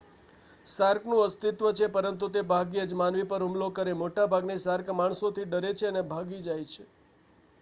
shark નું અસ્તિત્વ છે પરંતુ તે ભાગ્યે જ માનવી પર હુમલો કરે મોટા ભાગની શાર્ક માણસોથી ડરે છે અને ભાગી જશે